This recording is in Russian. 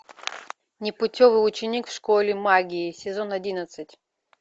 непутевый ученик в школе магии сезон одиннадцать